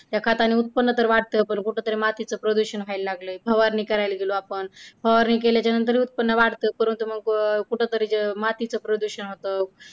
या खताने तर उत्पन्न वाढतं पण कुठेतरी मातीचा प्रदूषण व्हायला लागलय. फवारणी करायला गेलो, आपण फवारणी केल्याच्या नंतर उत्पन्न वाढतं. परंतु मग कुठेतरी मातीच प्रदूषण होतं.